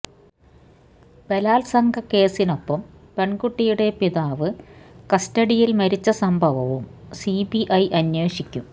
ബലാത്സംഗ കേസിനൊപ്പം പെണ്കുട്ടിയുടെ പിതാവ് കസ്റ്റഡിയില് മരിച്ച സംഭവവും സിബിഐ അന്വേഷിക്കും